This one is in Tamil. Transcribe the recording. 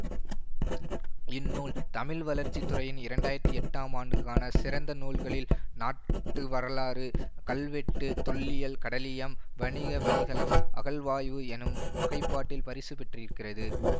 இந்நூல் தமிழ் வளர்ச்சி துறையின் இரண்டு ஆயிரத்தி எட்டாம் ஆண்டுக்கான சிறந்த நூல்களில் நாட்டுவரலாறு கல்வெட்டு தொல்லியல் கடலியம் வணிக வழிகளம் அகழாய்வு எனும் வகைப்பாட்டில் பரிசு பெற்றிருக்கிறது